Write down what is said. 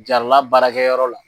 Jarala baarakɛ yɔrɔ la.